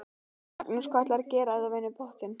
Magnús: Hvað ætlarðu að gera ef þú vinnur pottinn?